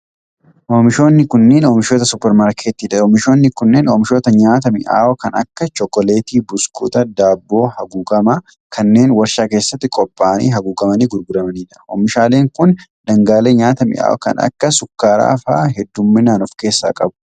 Oomishoonni kunneen oomishoota supparmaarkettii dha. Oomishoonni kunneen oomishoota nyaata mi'aawoo kan akka chokoleettii, buskuuta, daabboo haguugamaa kanneen warshaa keessatti qopha'anii haguugamanii gurguramanii dha. Oomishaaleen kun, dhangaalee nyaataa mi'aawoo kan akka sukkara faa hedduumminaan of keessaa qabu.